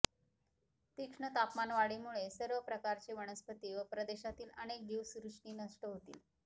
तीक्ष्ण तापमानवाढीमुळे सर्व प्रकारचे वनस्पती व प्रदेशातील अनेक जीवसृष्टी नष्ट होतील